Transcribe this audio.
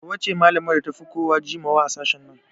Hauwa ce malamar da ta fi kowa jimawa a sashen nan